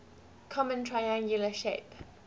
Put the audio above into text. common triangular shape